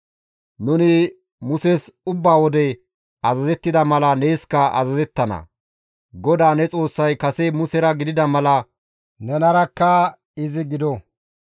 Nuni Muses ubba wode azazettida mala neeskka azazettana; GODAA ne Xoossay kase Musera gidida mala nenarakka izi gido!